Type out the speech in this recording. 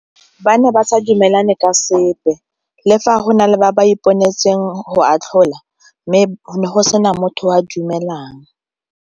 Ba ne ba sa dumelane ka sepe le fa go na le ba ba iponetseng go atlhola mme go ne go sena motho o a dumelang.